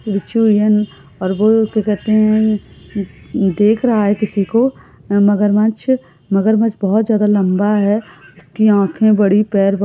देख रहा है किसी को मगरमच्छ मगरमच्छ बोहत लंबा है। इसकी आखे बड़ी पेर बडे--